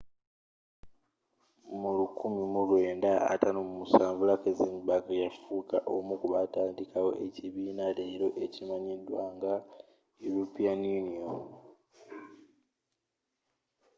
mu 1957 luxembourg yafuuka omu kubaatandikawo ekibiina leero ekimanyiddwa nga european union